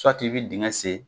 i bɛ digɛn sen.